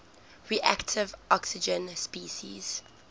reactive oxygen species